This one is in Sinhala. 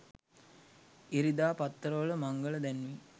ඉරිදා පත්තර වල මංගල දැන්වීම්